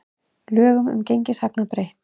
Lögum um gengishagnað breytt